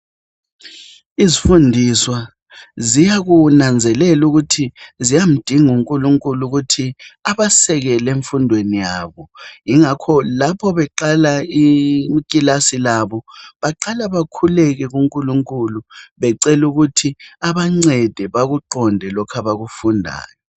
Izifundiswa ziyakunanzelela ukuthi ziyamdinga uNkulunkulu ukuthi abasekele emfundweni yabo. Yingakho lapho beqala ikilasi labo beqala bakhuleke kuNkulunkulu becela ukuthi abancede bakuqonde lokhu abakufundayo.